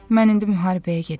Mən indi müharibəyə gedirəm.